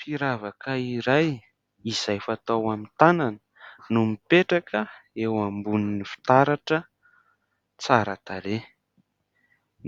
Firavaka iray, izay fatao amin'ny tanana, no mipetraka eo ambonin'ny fitaratra tsara tarehy.